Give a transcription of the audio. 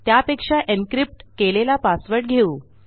त्यापेक्षा एन्क्रिप्ट केलेला पासवर्ड घेऊ